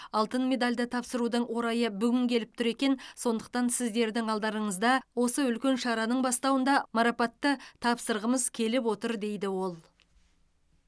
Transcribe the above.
алтын медалді тапсырудың орайы бүгін келіп тұр екен сондықтан сіздердің алдарыңызда осы үлкен шараның бастауында марапатты тапсырғымыз келіп отыр дейді ол